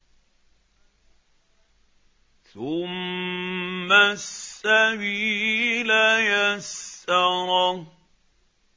ثُمَّ السَّبِيلَ يَسَّرَهُ